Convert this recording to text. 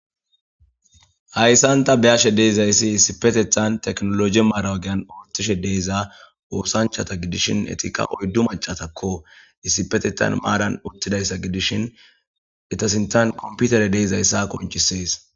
Haysan ta be'ashe dizaysi issipetetan tekinolojiya mara ogiyan othishe de'iza osanchata gidishin etika oydu mac'atakko issipetetan maran utidaysa gidishen eta sintan kompiter de'zaysa qonc'ses.